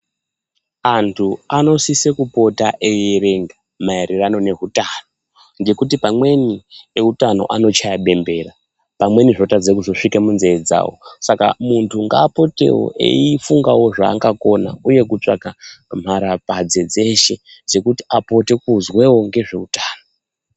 Antu anosisa kupota eierenga maererano ehutano ngekuti pamweni ehutano anochaya bembera zvitadza kuzosviika munzeve dzawo Saka muntu ngapotewo eifunga zvanga Kona uye kutsvaga mharapadzadzasw dzese.